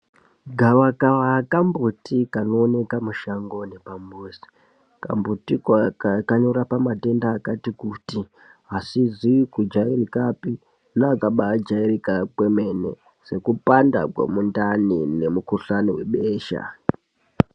Gavakava kambutikanooneka mushango nepambuzi, kambutiko kanorapa matenda akati kuti asizi kujairikapi neakajairika kwemene sekupanda kwemundani nemikuhlani webesha.